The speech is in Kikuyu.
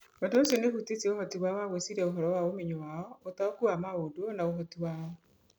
Ũndũ ũcio nĩ ũhutĩtie ũhoti wao wa gwĩciria ũhoro wa ũmenyo wao, ũtaũku wao wa maũndũ, na ũhoti wao.